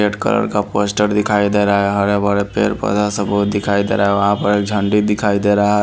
Red colour का पोस्टर दिखाई दे रहा है हरे-भरे पेड़ पौधा सब बहुत दिखाई दे रहा है वहाँ पर एक झंडी दिखाई दे रहा है।